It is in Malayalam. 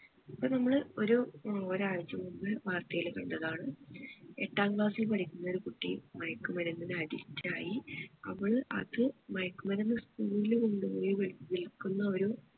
ഇപ്പൊ നമ്മള് ഒരു ഒരാഴ്ച മുൻപ് വാർത്തയിൽ കണ്ടതാണ് എട്ടാം class ഇൽ പഠിക്കുന്ന ഒരു കുട്ടി മയക്കുമരുന്നിന് addict ആയി അവള് അത് മയക്കുമരുന്ന് school ൽ കൊണ്ടുപോയി വിൽ വിൽക്കുന്ന ഒരു